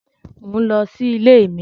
Mo ń lọ sí ilé mi